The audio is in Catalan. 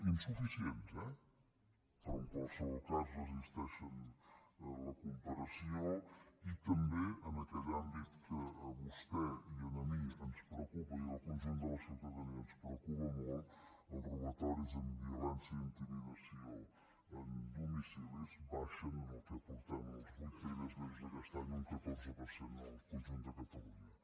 insuficients eh però en qualsevol cas resisteixen la comparació i també en aquell àmbit que a vostè i a mi ens preocupa i al conjunt de la ciutadania ens preocupa molt els robatoris amb violència i intimidació en domicilis baixen en els vuit primers mesos d’aquest any un catorze per cent en el conjunt de catalunya